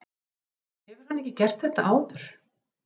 Hefur hann ekki gert þetta áður?